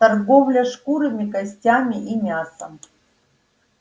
торговля шкурами костями и мясом